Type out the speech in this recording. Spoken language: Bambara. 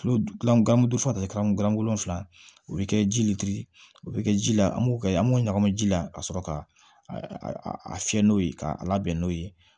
Tulo gilan gan don fɔ gan golo fila o bi kɛ ji litiri o be kɛ ji la an b'o kɛ an b'o ɲagami ji la ka sɔrɔ ka a fiyɛ n'o ye k'a labɛn n'o ye